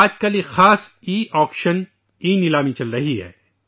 آج کل ایک خاص ای آکشن ، ای نیلامی جاری ہے